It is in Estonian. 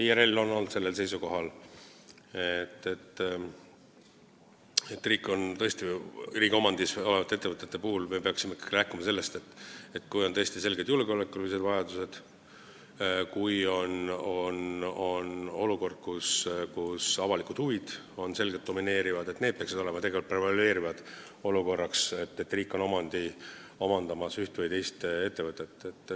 IRL on olnud seisukohal, et ettevõtete riigi omandisse mineku puhul me peaksime ikkagi rääkima sellest, et kui on tõesti selged julgeolekulised vajadused, kui avalikud huvid domineerivad, siis need argumendid peaksid tegelikult prevaleerima, kui on otsustamisel, kas riik hakkab omandama üht või teist ettevõtet.